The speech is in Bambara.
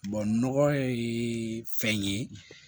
nɔgɔ ye fɛn ye